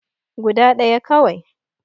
Guda ɗaya kawai